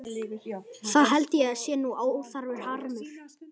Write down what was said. Það held ég sé nú óþarfur harmur.